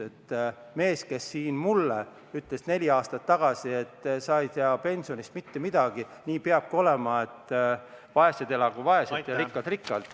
See mees ütles mulle neli aastat tagasi, et sa ei tea pensionist mitte midagi, nii peabki olema, et vaesed elagu vaeselt ja rikkad rikkalt.